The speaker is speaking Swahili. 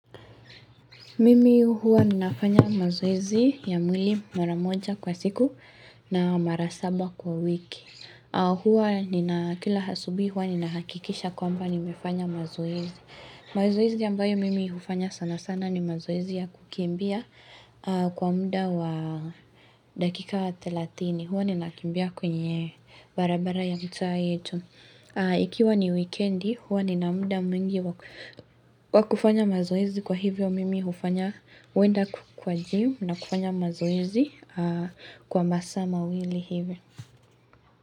Mimi huwa ninafanya mazoezi ya mwili mara moja kwa siku na mara saba kwa wiki. Huwa nina kila asubuhi huwa ninahakikisha kwamba nimefanya mazoezi. Mazoezi ambayo mimi hufanya sana sana ni mazoezi ya kukimbia kwa mda wa dakika wa thelathini. Huwa ninakimbia kwenye barabara ya mtaa wetu. Wikendi huwa nina mda mwingi wakufanya mazoezi kwa hivyo mimi hufanya masa mawili hivi.